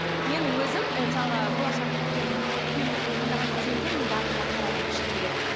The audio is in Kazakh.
мен өзім ы мысалға болашақ күйеуімді таңдаған кезеңде мен барлығына қарадым шыны керек